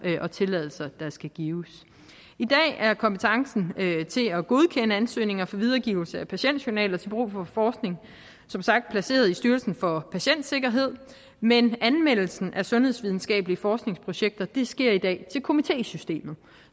og tilladelser der skal gives i dag er kompetencen til at godkende ansøgninger for videregivelse af patientjournaler til brug for forskning som sagt placeret i styrelsen for patientsikkerhed men anmeldelsen af sundhedsvidenskabelige forskningsprojekter sker til komitésystemet